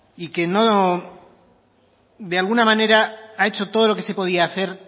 y que de alguna manera ha hecho todo lo que se podía hacer